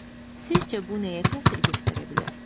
Sizcə bu nəyə təsir göstərə bilər?